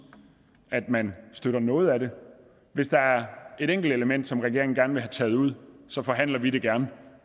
at man støtter noget af det hvis der er et enkelt element som regeringen gerne vil have taget ud så forhandler vi gerne